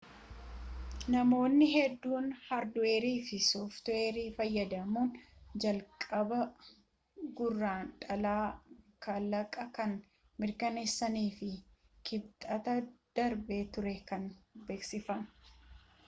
namoonni hedduun hardiweerii fi softiweeri fayyadamuun jalqaba gurrandhalaa kalaqa kan mirkaneessanii fi kibxata darbe ture kan beeksifame